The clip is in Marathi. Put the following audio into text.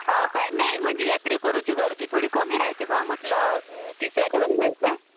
हा काय नाही म्हणजे यात्रेकरूंची गर्दी थोडी कमी राहते बा म्हटलं तिसऱ्या दिवस पेक्षा.